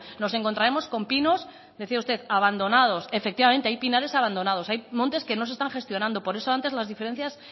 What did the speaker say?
nos encontraremos con pinos decía usted abandonados efectivamente hay pinares abandonados hay montes que no se están gestionando por eso antes las diferencias